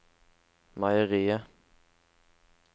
meieriet